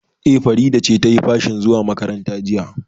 E, Farida ce ta yi fashin zuwa makaranta jiya.